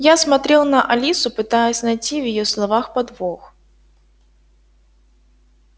я смотрел на алису пытаясь найти в её словах подвох